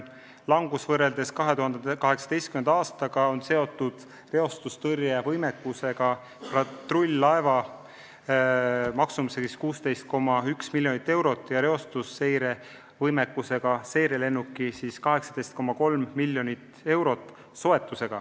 Langus võrreldes 2018. aastaga on seotud soetatud reostustõrjevõimekusega patrull-laeva maksumusega 16,1 miljonit eurot ja reostusseirevõimekusega seirelennuki maksumusega 18,3 miljonit eurot.